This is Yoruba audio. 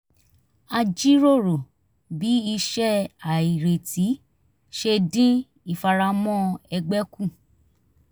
a jíròrò bí iṣẹ́ àìrètí ṣe dín ìfaramọ́ ẹgbẹ́ kù